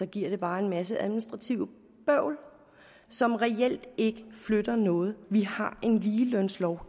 giver det bare en masse administrativt bøvl som reelt ikke flytter noget vi har en ligelønslov